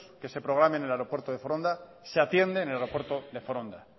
que se programe en el aeropuerto de foronda se atiendeen el aeropuerto de foronda